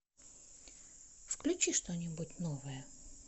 включи что нибудь новое